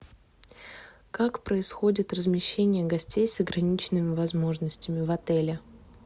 как происходит размещение гостей с ограниченными возможностями в отеле